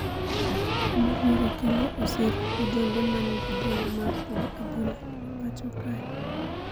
Moluor Okello osiro ojende ma ni gi geno mar tugo adhula e pacho kae